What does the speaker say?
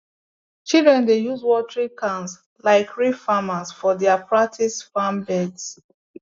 children dey use watering cans like real farmers for their practice farm beds